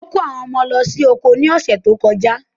Ó kó àwọn ọmọ lọ sí oko ni ọ̀ṣẹ̀ tó kọjà.